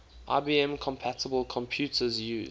ibm compatible computers use